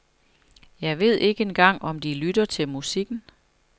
Jeg ved ikke engang om de lytter til musikken.